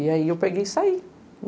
E aí eu peguei e saí.